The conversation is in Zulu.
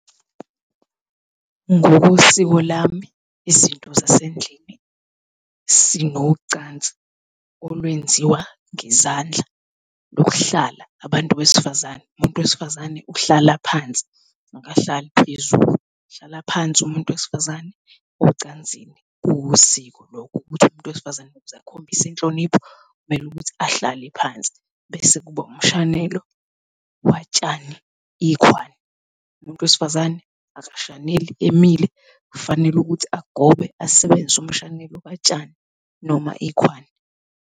Ngokosiko lami, izinto zasendlini, sinocansi olwenziwa ngezandla lokuhlala abantu besifazane, umuntu wesifazane uhlala phansi akahlali phezulu, uhlala phansi umuntu wesifazane ocansini, kuwusiko lokho ukuthi umuntu wesifazane ukuze akhombise inhlonipho, kumele ukuthi ahlale phansi. Bese kuba umshanelo watshani ikhwani, umuntu wesifazane akashaneli emile kufanele ukuthi agobe asebenzise umshanelo katshani noma ikhwani.